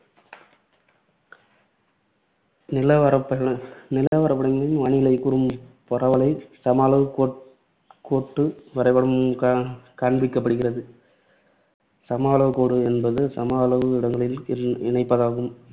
நிலவரைபட~ நிலவரைபடங்களில் வானிலைக் கூறும் பரவலைச் சம அளவுக் கோட்~ கோட்டு வரைபடம் காண்பிக்கப்படுகிறது. சம அளவுக் கோடு என்பது சம அளவுள்ள இடங்களை இ~ இணைப்பதாகும்.